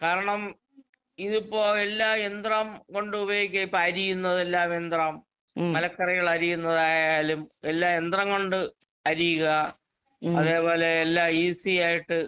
കാരണം ഇതിപ്പോ എല്ലാ യന്ത്രം കൊണ്ടുപയോഗിക്കുവാ. ഇപ്പരിയുന്നതെല്ലാം യന്ത്രം മലക്കറികളരിയുന്നതായാലും എല്ലാം യന്ത്രം കൊണ്ട് അരിയുക. അതേ പോലെ എല്ലാം ഈസീയായിട്ട്